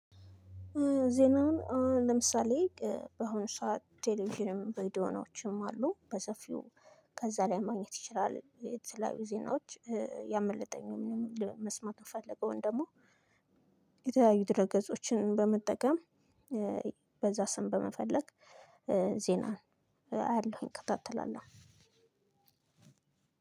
ዜናውን አሁን ለምሳሌ በአሁኑ ሰዓት ቴሌቪዥን በዲያናዎችም አሉ በሰፊው ከዛ ላይ ማግኘት ይችላል የተለያዩ ዜናዎች ያመለጠኝ መስማት ምፈለገውን ደግሞ የተያዩ ድረገጾችን በመጠቀም በዛ ስም በመፈለግ ዜናን አያለሁ እከታተላለሁ።